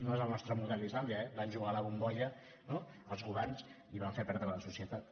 no és el nostre model islàndia eh van jugar a la bombolla els governs i van fer perdre a la societat